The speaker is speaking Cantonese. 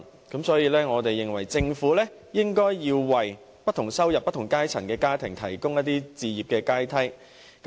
因此，我們認為政府應為不同收入、不同階層的家庭提供置業的階梯。